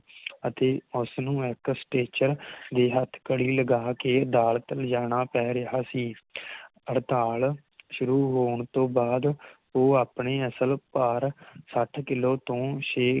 ਅਤੇ ਉਸ ਨੂੰ ਇਕ ਸਟੈਚਰ ਤੇ ਹੱਥਕੜੀ ਲਗਾ ਕੇ ਅਦਾਲਤ ਲੈ ਜਾਣਾ ਪੈ ਰਿਹਾ ਸੀ ਹੜਤਾਲ ਸ਼ੁਰੂ ਹੋਣ ਤੋਂ ਬਾਦ ਉਹ ਆਪਣੇ ਅਸਲ ਭਾਰ ਸੱਠ ਕਿਲੋ ਤੋਂ ਛੇ